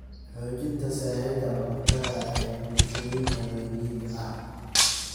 Xoojinta sahayda cuntada ee bulshooyinka reer miyiga ah.